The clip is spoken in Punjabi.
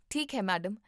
ਠੀਕ ਹੈ ਮੈਡਮ